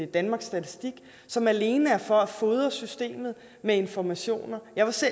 danmarks statistik som alene er til for at fodre systemet med informationer jeg